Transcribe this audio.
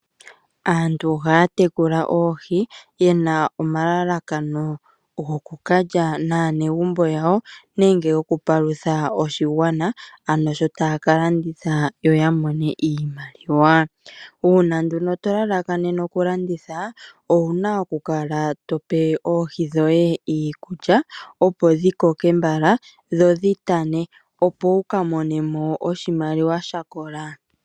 Aantu ohaya tekula oohi yena omalalakano go kukalya naanegumbo yawo nenge yoku palutha oshigwana ano sho taya ka landitha yo yamone iimaliwa. Uuna nduno to lalakanene okulanditha owuna okukala tope oohi dhoye iikulya opo dhikoke mbala dho dhi gwane opo wukamonemo oshimaliwa shakola .